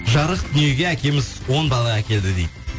жарық дүниеге әкеміз он бала әкелді дейді